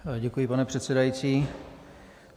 Děkuji, pane předsedající.